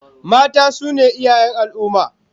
Mata su ne iyayen al'ummah